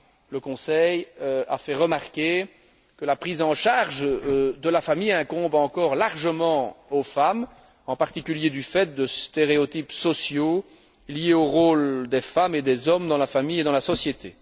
Le Conseil a fait remarquer que la prise en charge de la famille incombe encore largement aux femmes, en particulier du fait de stéréotypes sociaux, liés au rôle des femmes et des hommes dans la famille et dans la société.